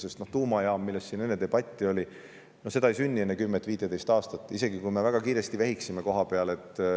Sest tuumajaam, mille üle siin enne debatti peeti, ei sünni enne 10 või 15 aastat, isegi kui me kohapeal väga kiiresti vehiksime.